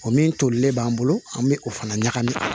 O min tolilen b'an bolo an bɛ o fana ɲagami